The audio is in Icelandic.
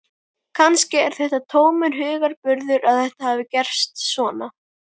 Kannski er það tómur hugarburður að þetta hafi gerst svona.